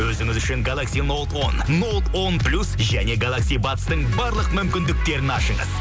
өзіңіз үшін галакси ноут он ноут он плюс және галакси бадстың барлық мүмкіндіктерін ашыңыз